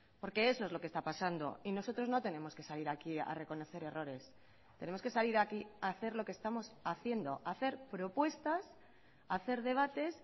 porque eso es lo que está pasando y nosotros no tenemos que salir aquí a reconocer errores tenemos que salir aquí a hacer lo que estamos haciendo a hacer propuestas a hacer debates